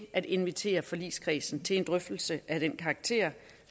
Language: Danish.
at invitere forligskredsen til en drøftelse af den karakter